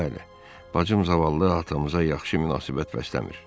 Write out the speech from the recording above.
Bəli, bacım zavallı atamıza yaxşı münasibət bəsləmir.